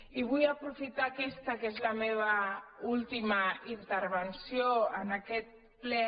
i vull aprofitar aquesta que és la meva última interven·ció en aquest ple